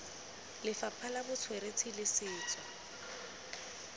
lefapha la botsweretshi le setso